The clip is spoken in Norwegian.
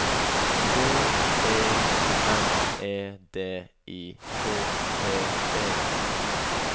B E N E D I K T E